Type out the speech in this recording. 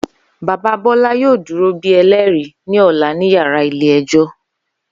Baba Bola yoo duro bi ẹlẹri ni ọla ni yara ile-ẹjọ.